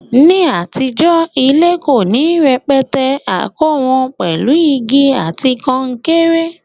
Ní àtijó, ilé ko ni rẹpẹtẹ, a kó won pèlu igi àti kankéré